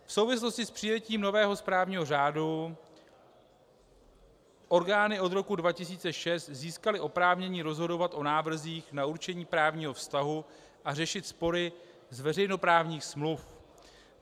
V souvislosti s přijetím nového správního řádu orgány od roku 2006 získaly oprávnění rozhodovat o návrzích na určení právního vztahu a řešit spory z veřejnoprávních smluv.